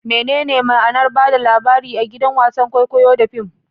Menene ma'anar ba da labari a gidan wasan kwaikwayo da fim?